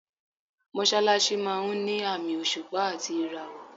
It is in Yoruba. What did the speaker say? Mọ́ṣálásí máa ń ni àmì òṣùpá àti ìràwọ̀.